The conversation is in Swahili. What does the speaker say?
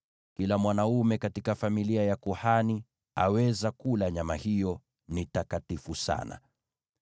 Kila mwanaume katika familia ya kuhani aweza kula nyama hiyo; ni takatifu sana.